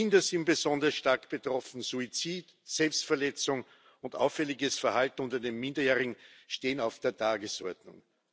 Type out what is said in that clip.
Kinder sind besonders stark betroffen. Suizid, Selbstverletzung und auffälliges Verhalten unter den Minderjährigen stehen auf der Tagesordnung.